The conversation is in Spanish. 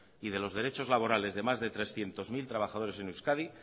y de los derechos laborales de más de trescientos mil trabajadores en euskadi